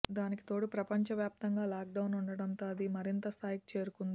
దానికి తోడు ప్రపంచ వ్యాప్తంగా లాక్ డౌన్ ఉండటంతో అది మరింత స్థాయికి చేరుకుంది